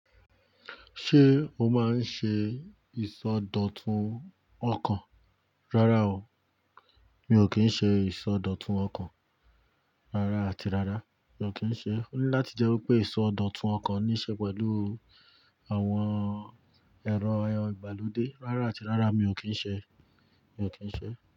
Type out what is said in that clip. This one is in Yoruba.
Ṣé o máa ń ṣe ìsọdọ̀tun ọkàn? Rárá o, mi ò kí ń ṣe ìsọdọ̀tun ọkàn. Rárá àti rárá, mi ò kí ń ṣe. Ó ní láti jẹ́ wí pé ìsọdọ̀tun ọkàn níí ṣe pẹ̀lú àwọn ẹ̀rọ aye ìgbàlódé. Rárá àti rárá, mi ò kí ń ṣe, mi ò kí ń ṣe.